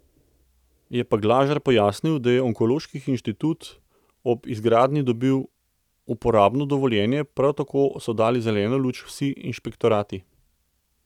Je pa Glažar pojasnil, da je onkološki inštitut ob izgradnji dobil uporabno dovoljenje, prav tako so dali zeleno luč vsi inšpektorati.